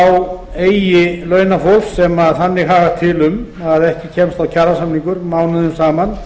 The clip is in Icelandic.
á langinn eigi launafólk sem þannig hagar til um að ekki kemst á kjarasamningar mánuðum saman